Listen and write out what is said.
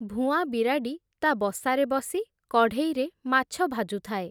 ଭୁଆଁ ବିରାଡ଼ି, ତା’ ବସାରେ ବସି, କଢ଼େଇରେ ମାଛ ଭାଜୁଥାଏ ।